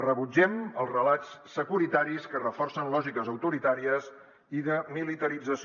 rebutgem els relats securitaris que reforcen lògiques autoritàries i de militarització